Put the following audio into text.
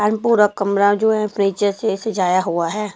And पूरा कमरा जो हैफर्नीचर से सजाया हुआ है।